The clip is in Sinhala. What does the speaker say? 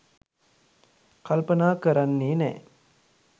කල්පනා කරන්නේ නෑ.